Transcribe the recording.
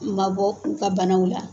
N ma bɔ n ka banaw la.